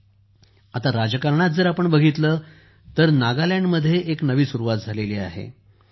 जर आपण राजकारणात बघितले तर नागालँडमध्ये एक नवी सुरुवात झाली आहे